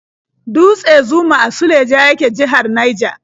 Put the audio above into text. Dutse Zuma a Suleja yake, jihar Naija.